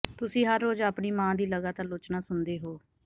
ਤੁਸੀਂ ਹਰ ਰੋਜ਼ ਆਪਣੀ ਮਾਂ ਦੀ ਲਗਾਤਾਰ ਆਲੋਚਨਾ ਸੁਣਦੇ ਹੋ